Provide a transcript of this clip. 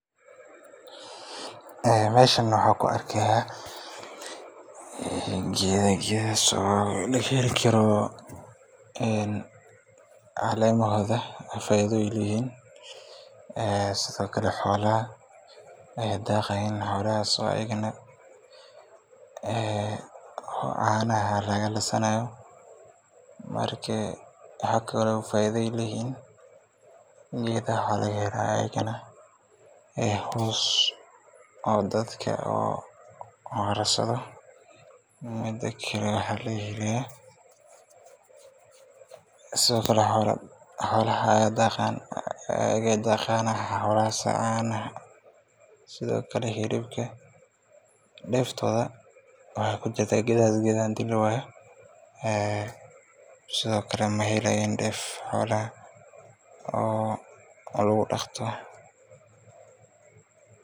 Ee meshan waxan kuarkaya gedha gedha socda oo lagaheli Karo en caleemahodha faidhoyin weyn ee sidhokale xoolaha aya daqayan xoolahaso ayagana ee caanaha lagalisanayo marka waxakalo faidha ay leyihin gedhaha Aya laga helaya ee hoos oo dadka oo lagu arasadha. Midakale wax lagahelayo sidhokale xolaha ayay daqayaan ayaga caanaha sidhokale herubka deeftodha wa kujurta gedha hdii lawaya ee sidhokale mehelayan deef xolaha oo lagu daqto.